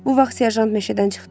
Bu vaxt serjant meşədən çıxdı.